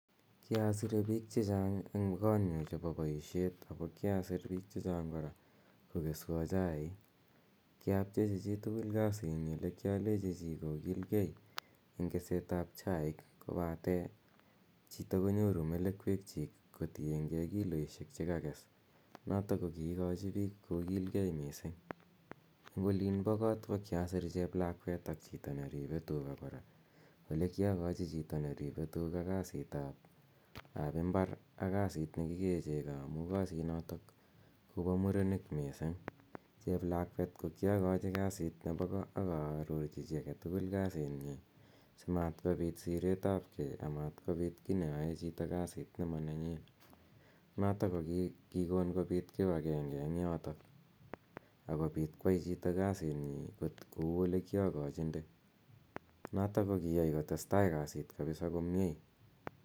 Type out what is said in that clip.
Kiasire piik che chang' en kotnyu chepo poishet ako kiasir piik che chang' kora kokeswa chaiik. Kiapchechi chi tugul kasitnyi ako ki alechi chi age tugul kokil gei eng' keset ap chaik kopate chito konyoru melekwekchiik kotienygei kilioisiek che kakes notok ko kiikachi piik kokilgei missing'. Eng' opin po kot ko kiasir cheplakwet ak chito neripe tuga kora. Ole kiakachi chito neripe tuga kasitap imbar ak kasit ne kikee cheko amu kasinotok ko pa murenik missing'. Cheplakwet ko kiakachi kasit nepo ko ak aarorchi chi age tugul kasit nyi si matkopit sireet ap ge amatkopit ki neyae chito kasit ne manenyi notok ko kikon kopit kipagenge eng' yotok ako pit koyai chito kasitnyi kou ole kiakachinde notok ko kiyai kotes tai kapisa kasit komye.